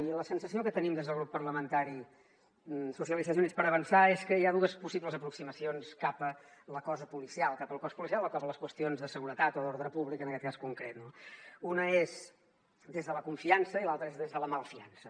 i la sensació que tenim des del grup parlamentari socialistes i units per avançar és que hi ha dues possibles aproximacions cap a la cosa policial cap al cos policial o cap a les qüestions de seguretat o d’ordre públic en aquest cas concret no una és des de la confiança i l’altra és des de la malfiança